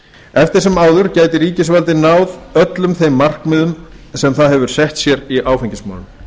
eftir sem áður gæti ríkisvaldið náð öllum þeim markmiðum sem það hefur sett sér í áfengismálum